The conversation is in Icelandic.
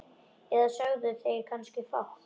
Eða sögðu þeir kannski fátt?